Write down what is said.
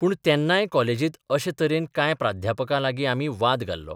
पूण तेन्नाय कॉलेजित अशेच तरेन कांय प्राध्यापकां लागीं आमी वाद घाल्लो.